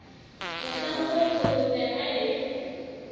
mohlang oo kolobe ha e